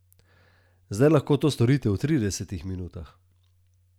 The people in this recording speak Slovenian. Zdaj lahko to storite v tridesetih minutah.